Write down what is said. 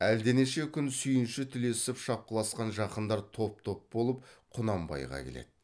әлденеше күн сүйінші тілесіп шапқыласқан жақындар топ топ болып құнанбайға келеді